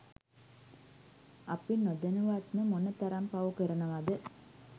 අපි නොදැනුවත්ම මොන තරම් පව් කරනවද